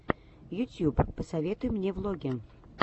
ютьюб посоветуй мне влоги